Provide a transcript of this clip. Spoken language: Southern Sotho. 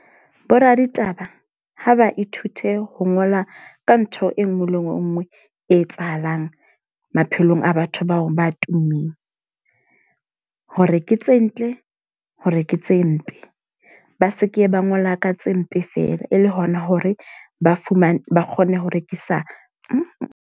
Bo raditaba ha ba ithute ho ngola ka ntho e nngwe le e nngwe e etsahalang maphelong a batho bao ba tummeng. Hore ke tse ntle hore ke tse mpe. Ba seke ba ngola ka tse mpe fela e le hona hore ba fumane ba kgone ho rekisa .